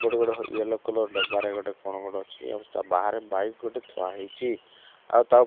ଗୋଟେ ଗୋଟେ yellow colour ଡବା ରେ ଗୋଟେ କଣ ରହିଛି ଆଉ ଚା ବାହାରେ ବାଇକ୍ ଗୋଟେ ଥୁଆ ହେଇଛି ଆଉ ତା ପ --